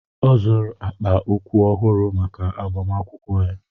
Ọ zụrụ akpa ụkwụ ọhụrụ maka agbamakwụkwọ ya.